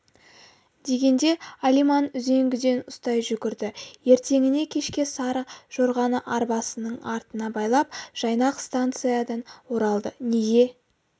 дегенде алиман үзеңгіден ұстай жүгірді ертеңіне кешке сары жорғаны арбасының артына байлап жайнақ станциядан оралды неге